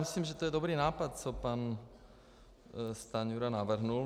Myslím, že je to dobrý nápad, co pan Stanjura navrhl.